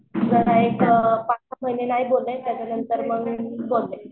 पाच सहा महिने नाही बोलले मग त्याच्यानंतर बोलले.